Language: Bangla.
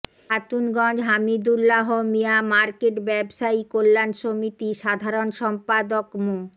খাতুনগঞ্জ হামিদুল্লাহ মিয়া মার্কেট ব্যবসায়ী কল্যাণ সমিতি সাধারণ সম্পাদক মো